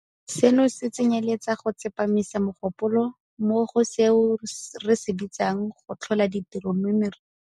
Seno se tsenyeletsa go tsepamisa mogopolo mo go seo re se bitsang 'go tlhola ditiro mo mererong ya loago'.